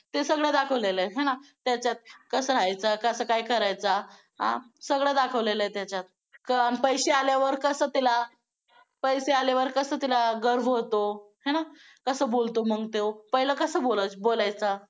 ते सगळं दाखवलेलं आहे आहे ना कसं राहायचं कसं काय करायचं आ सगळं दाखवलेलं आहे त्याच्यात, पैसे आल्यावर कसं त्याला, पैसे आल्यावर कसं त्याला गर्व होतो काय होतो आहे ना कसं बोलतो मग तो पहिला कसं बोलायचा.